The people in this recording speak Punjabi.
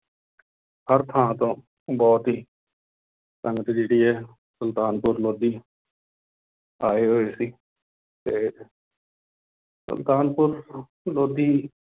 ਹਰ ਥਾਂ ਤੋਂ ਬਹੁਤ ਹੀ ਸੰਗਤ ਜਿਹੜੀ ਹੈ ਸੁਲਤਾਨਪੁਰ ਲੋਧੀ ਆਏ ਹੋਏ ਸੀ ਤੇ ਸੁਲਤਾਨਪੁਰ ਲੋਧੀ